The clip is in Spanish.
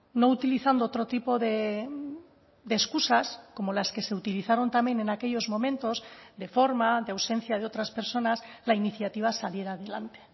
no utilizando otro tipo de excusas como las que se utilizaron también en aquellos momentos de forma de ausencia de otras personas la iniciativa saliera adelante